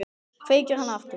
Kveikir hana aftur.